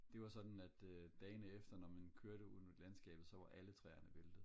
det var sådan at dagene efter når man kørte ude i landskabet så var alle træerne væltet